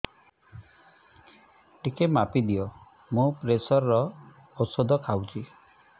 ଟିକେ ମାପିଦିଅ ମୁଁ ପ୍ରେସର ଔଷଧ ଖାଉଚି